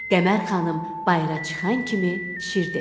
Qəmər xanım bayıra çıxan kimi Şir dedi.